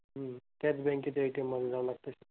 हम्म त्याच bank च्या ATM मध्ये जावं लागतं?